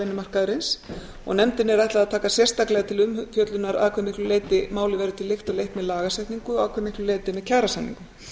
vinnumarkaðarins og nefndinni er ætlað að taka sérstaklega til umfjöllunar að hve miklu leyti málið verður til lykta leitt með lagasetningu og að hve miklu leyti með kjarasamningum